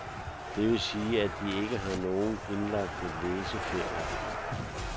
Det vil sige, at de ikke har nogen indlagte læseferier.